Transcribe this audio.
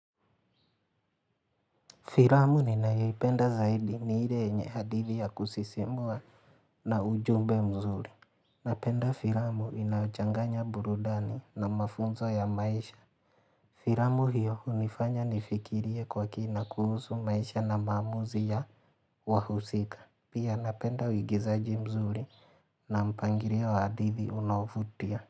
Filamu ninaipenda zaidi ni ile yenye hadithi ya kusisimua na ujumbe mzuri. Napenda filamu inachanganya burudani na mafunzo ya maisha. Filamu hiyo hunifanya nifikirie kwa kina kuhusu maisha na maamuzi ya wahusika. Pia napenda uigizaji mzuri na mpangilio wa hadithi unaovutia.